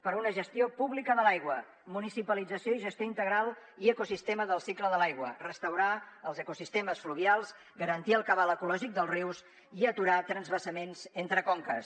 per una gestió pública de l’aigua municipalització i gestió integral i ecosistema del cicle de l’aigua restaurar els ecosistemes fluvials garantir el cabal ecològic dels rius i aturar transvasaments entre conques